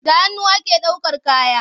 Da hannu ake ɗaukan kaya.